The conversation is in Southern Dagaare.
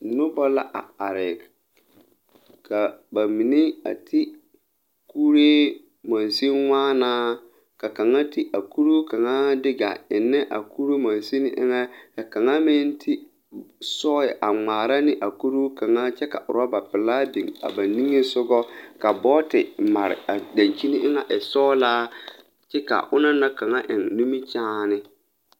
Nobɔ la a are ka ba mine a ti kuree wa mãã ka kaŋa ti a kuruu kaŋaa de a eŋnɛ a kuri mansen eŋɛ ka kaŋa meŋ ti sɔɔyɛ a ngmaara ne a kuruu kaŋa kyɛ ka rɔba laa biŋ a ba niŋesugɔ ka bɔɔti mare a dankyini eŋɛ e sɔglaa kyɛ ka onɔŋ na kaŋ naŋ eŋ nimikyaane.